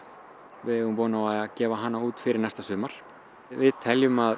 við eigum von á að gefa hana út fyrir næsta sumar við teljum að